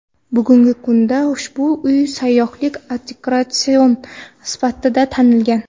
Bugungi kunda ushbu uy sayyohlik attraksioni sifatida tanilgan.